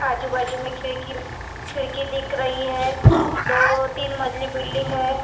आजु बाजु मे खिड़की खिड़की दिख रही है दो तीन मंजिल बिल्डिंग है।